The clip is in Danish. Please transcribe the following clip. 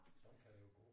Sådan kan det jo gå